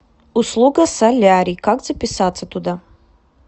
услуга солярий как записаться туда